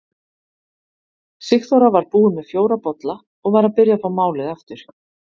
Sigþóra var búin með fjóra bolla og var að byrja að fá málið aftur.